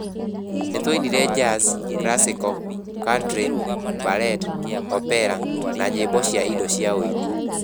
Nĩ twainire jazz, classical, country, ballet, opera na nyĩmbo cia indo cia ũini.